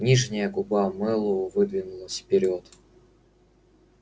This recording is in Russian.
нижняя губа мэллоу выдвинулась вперёд